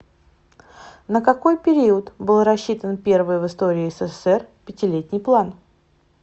на какой период был рассчитан первый в истории ссср пятилетний план